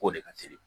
K'o de ka teli